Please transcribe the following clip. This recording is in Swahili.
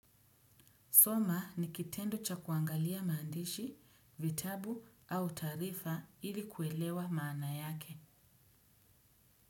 Soma ni kitendo cha kuangalia maandishi, vitabu au taarifa ili kuelewa maana yake.